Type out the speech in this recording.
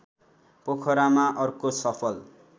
पोखरामा अर्को सफल